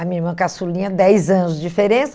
A minha irmã caçulinha, dez anos de diferença.